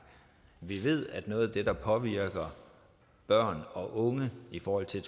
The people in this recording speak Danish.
vi ved at noget af det der påvirker børn og unge i forhold til